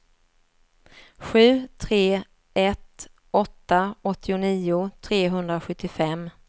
sju tre ett åtta åttionio trehundrasjuttiofem